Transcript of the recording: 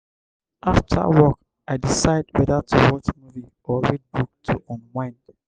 after work i decide whether to watch movie or read book to unwind.